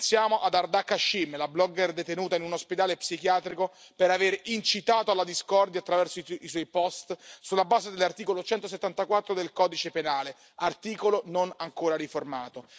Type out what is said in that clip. pensiamo ad Ardak Ashim, la blogger detenuta in un ospedale psichiatrico per aver incitato alla discordia, attraverso i suoi post, sulla base dell'articolo 174 del codice penale, articolo non ancora riformato.